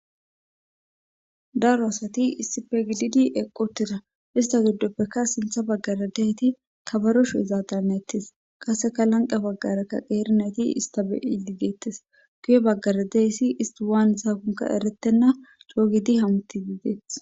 daro assati issife gididi eqqi utiidda ista giddoppekka sinththa baggare diyayti kabero sho'izaadanetees kasekka lanqqa baggarekka qeeri nayti ista be'idi de'ettees guye baggara de'iyayssi isti waanizakonkka erettenna coo gidi hamuuti dees